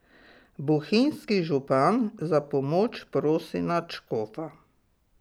Bohinjski župan za pomoč prosi nadškofa.